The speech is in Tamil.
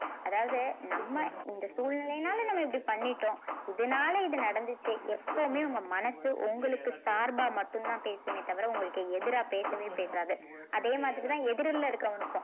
அதாவது நம்ம இந்த சூழ்நிலையினால நம்ம இப்படி பண்ணிட்டோம் இதனால இது நடந்துச்சு எப்பவுமே உங்க மனசு உங்களுக்கு சார்பா மட்டும்தான் பேசுமே தவிர உங்களுக்கு எதிரா பேசவே பேசாது அதே மாதிரிதான் எதிர்ல இருக்கிறவனுக்கும்